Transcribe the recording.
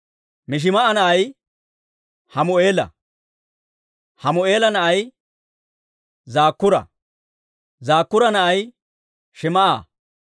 Mishimaa'a na'ay Hammu'eela; Hammu'eela na'ay Zakkuura; Zakkuura na'ay Shim"a.